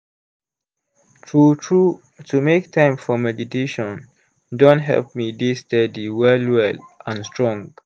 true true to make time for meditation don help me dey steady well well and strong.